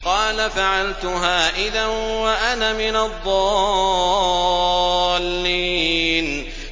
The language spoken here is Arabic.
قَالَ فَعَلْتُهَا إِذًا وَأَنَا مِنَ الضَّالِّينَ